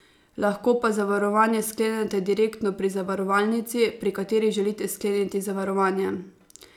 Lahko pa zavarovanje sklenete direktno pri zavarovalnici, pri kateri želite skleniti zavarovanje.